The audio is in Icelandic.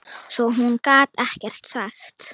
Svo hún gat ekkert sagt.